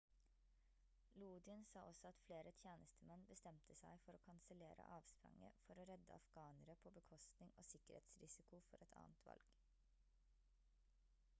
lodin sa også at flere tjenestemenn bestemte seg for å kansellere avspranget for å redde afghanere på bekostning og sikkerhetsrisiko for et annet valg